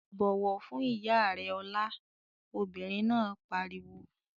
"Bọ̀wọ̀ fún ìyá rẹ Ọlá!" Obìnrin náà pariwo.